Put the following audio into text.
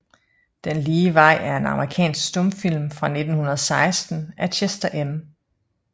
Den lige vej er en amerikansk stumfilm fra 1916 af Chester M